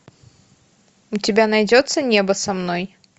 у тебя найдется небо со мной